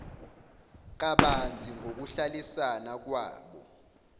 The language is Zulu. kabanzi ngokuhlalisana kwabo